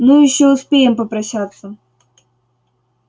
ну ещё успеем попрощаться